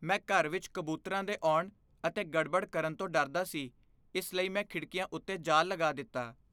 ਮੈਂ ਘਰ ਵਿੱਚ ਕਬੂਤਰਾਂ ਦੇ ਆਉਣ ਅਤੇ ਗੜਬੜ ਕਰਨ ਤੋਂ ਡਰਦਾ ਸੀ ਇਸ ਲਈ ਮੈਂ ਖਿੜਕੀਆਂ ਉੱਤੇ ਜਾਲ ਲਗਾ ਦਿੱਤਾ।